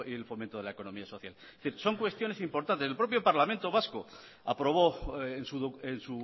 el fomento de la economía social son cuestiones importantes el propio parlamento vasco aprobó en